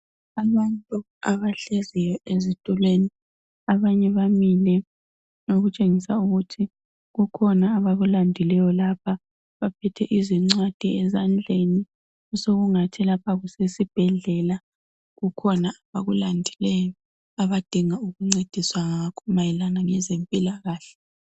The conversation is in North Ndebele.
Abantu abahleziyo ezitulweni, abanye bamile okutshengisa ukuthi kukhona abakulandileyo lapha. Baphethe izincwadi ezandleni osokungathi lapha kusesibhedlela, kukhona abakulandileyo abadinga ukuncediswa ngakho mayelana ngezempilakahle.